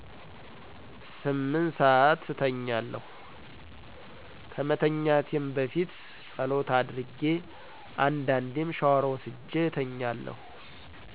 ስምንት ሰአት እተኛለሁ። ከመተኛቴም በፊትጸሎት አድርጌ አንዴዴም ሻወር ወስጄ እተኛለሁ።